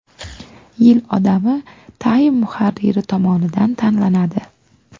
Yil odami Time muharriri tomonidan tanlanadi.